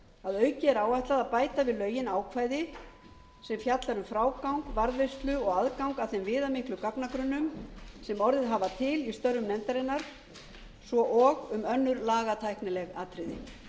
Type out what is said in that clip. að auki er áætlað að bæta við lögin ákvæði sem fjalla um frágang varðveislu og aðgang að þeim viðamiklu gagnagrunnum sem orðið hafa til í störfum nefndarinnar svo og um önnur lagatæknileg atriði